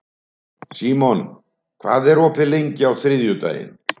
Símon, hvað er opið lengi á þriðjudaginn?